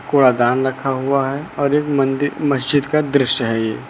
कूड़ा दान रखा हुआ है और एक मंदिर मस्जिद का दृश्य है ये।